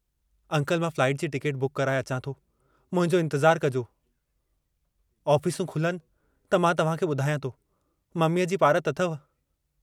Uncle, मां flight जी ticket book कराए अचां थो, मुंहिंजो इन्तज़ारु कजो... ऑफिसूं खुलनि त मां तव्हां खे बुधायां थो, ममीअ जी पारत अथव।